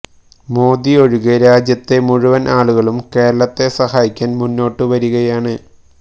മോദി ഒഴികെ രാജ്യത്തെ മുഴുവൻ ആളുകളും കേരളത്തെ സഹായിക്കാൻ മുന്നോട്ട് വരികയാണ്